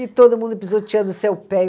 E todo mundo pisoteando o seu pé.